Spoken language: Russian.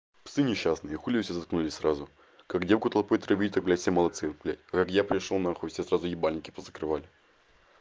псы несчастные сейчас хули вы все заткнулись сразу как девку толпой травить так блядь все молодцы блядь а как я пришёл нахуй все сразу ебальники позакрывали